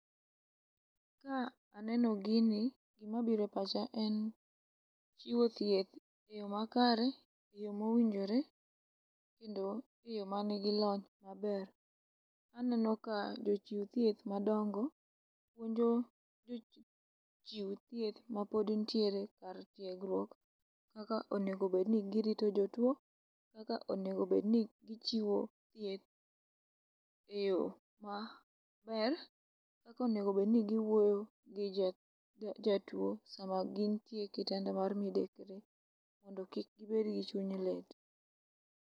Ka aneni gini gima biro e pacha en chiwo thieth e yo makare, e yo mowinjore kendo e yo manigi lony maber. Aneno ka jo chiu thieth madongo winjo jo chiu mapod nitiere kar tiegruok kaka onego obed ni girito jo tuo, kaka onego obed ni gichiwo thieth e yo maber, kaka onego bed ni giwuoyo ji ja jatuo sama gintie e kitanda mar midekre mondo kik gibed gi chuny lit.